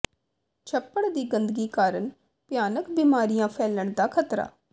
ਛੱਪੜ ਦੀ ਗੰਦਗੀ ਕਾਰਨ ਭਿਆਨਕ ਬਿਮਾਰੀਆਂ ਫੈਲਣ ਦਾ ਖ਼ਤਰਾ